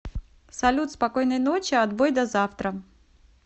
салют спокойной ночи отбой до завтра